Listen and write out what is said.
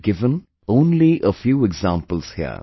I have given only a few examples here